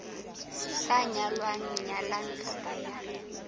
sa nyalang nyalwang kapa ya